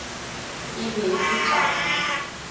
e be e ka ba